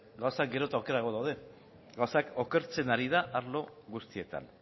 gauzak gero eta okerrago daude gauzak okertzen ari dira arlo guztietan